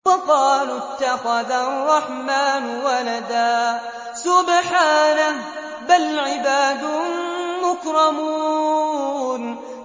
وَقَالُوا اتَّخَذَ الرَّحْمَٰنُ وَلَدًا ۗ سُبْحَانَهُ ۚ بَلْ عِبَادٌ مُّكْرَمُونَ